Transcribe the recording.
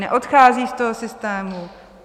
Neodchází z toho systému?